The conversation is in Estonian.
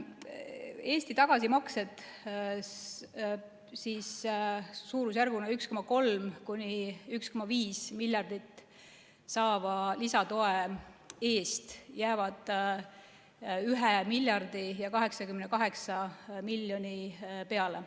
Eesti tagasimaksed suurusjärguna 1,3–1,5 miljardit saadava lisatoe eest jäävad 1 miljardi ja 88 miljoni peale.